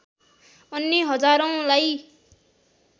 अन्य हजारौंलाई